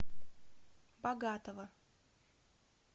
богатова